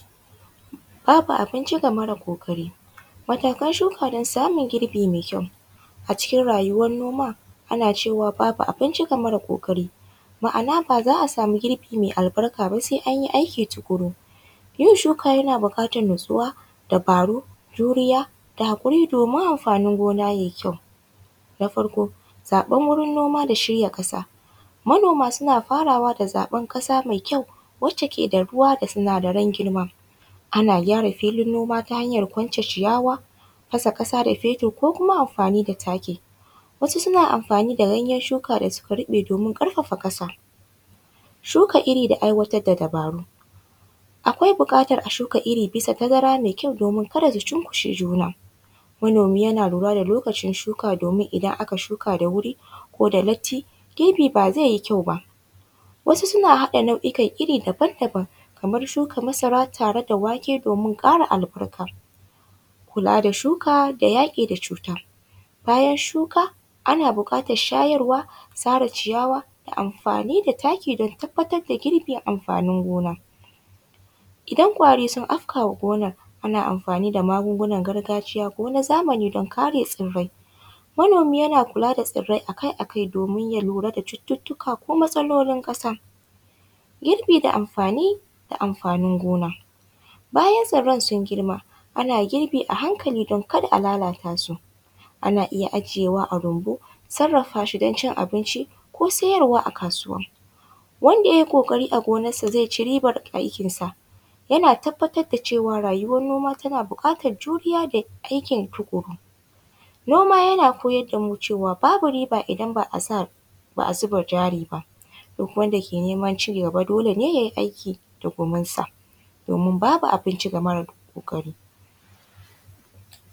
Fafe abinci ga mara kokari wato ka shuka don samun girbi mai kyau a cikin rayuwan noma ana cewa fafe abinci ga mara kokari ma’ana baza a samu girbi mai albarka ba sai an yi aiki tukuru, yin shuka yana bukatar natsuwa dabaru juriya da hakuri domin amfanin gona yayi kyau, na farko zaban wurin noma da shirya kasa manoma suna faraway da zaban kasa mai kyau wacce ke da ruwa da sinadaran girma ana kyara filin gona ta hanya kwance jiyawa fasa kasa da fetur ko kuma amfani da taki wasu suna amfani da ganyan shuka da suka ruɓe domin karfafa kasa, shuka iri da aiwatar da dubaru akwai bukatar a shuka iri bisa tazara mai kyau domin kada ta shunkushe juna, manomi yana lura da lokacin shuka domin idan aka shuka da wuri ko da lalti girbi ba zai yi kyau ba wasu suna haɗa nao’ikan iri daban-daban kamar shuka masara tare da wake domin kara albarka, kula da shuka da yaki da cuta bayan shuka ana bukatar shayarwa sare ciyawa da amfani da taki don tabbatar da girbin amfanin gona, idan ƙwari sun afka wa gonar muna amfani da magungunar gargajiya ko na zamani don kare tsirai manomi yana kula da tsirai akai-akai domin ya lura da cututtuka ko matsaloli kasa, girbi da amfani amfanin gona bayan tsiran sun girma ana girbi a hankali don kada a lalata su ana iya ajiyewa a rumbu sarafa shi don cin abinci ko siyarwa a kasuwa, wanda yayi kokari a gonarsa zai ci ribar aikin sa yana tabbatar da cewa rayuwar noma tana bukatar juriya da aikin tukuru, noma yana koyar da mu cewa babu riba idan ba a zuba jari baduk wanda ke neman cin riba dole ne yayi aiki da guminsa domin babu abinci ga mara kokari.